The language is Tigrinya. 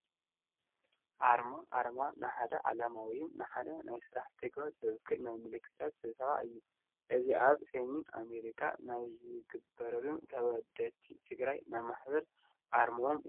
ኣርማ፡- ኣርማ ንሓደ ዕላማ ወይ ንሓደ ናይ ስራሕ ተግባር ዝውክል ናይ ምልክታት ስብስብ እዩ፡፡ እዚ ኣብ ሴ.ኣሜሪካ ናይ ዝነብሩ ተወድቲ ትግራይ ናይ ማሕበር ኣርሞኦም እዩ፡፡